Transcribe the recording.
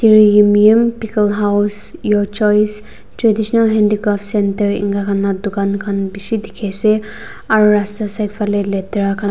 tir yimyim pickle house your choice traditional handicraft centre eneka khan la dukaan khan bishi dikhi ase aro rasta side phane letera khan --